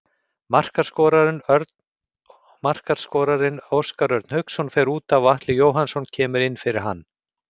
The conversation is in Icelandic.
Markaskorarinn Óskar Örn Hauksson fer útaf og Atli Jóhannsson kemur inn fyrir hann.